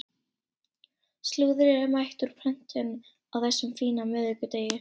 Slúðrið er mætt úr prentun á þessum fína miðvikudegi.